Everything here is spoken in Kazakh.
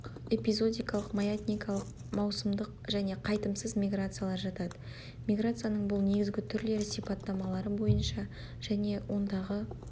эпизодикалық маятникалық маусымдық және қайтымсыз миграциялар жатады миграцияның бұл негізгі түрлері сипаттамалары бойынша және ондағы